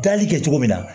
Gali kɛ cogo min na